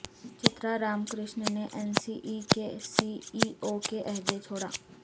چترا Ramkrishna نے N S E کے C E O کے عہدے چھوڑا